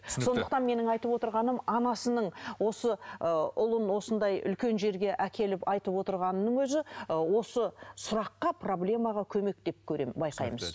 сондықтан менің айтып отырғаным анасының осы ы ұлын осындай үлкен жерге әкеліп айтып отырғанының өзі ы осы сұраққа проблемаға көмек деп көремін байқаймыз